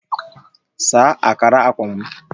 Saa akara akwa m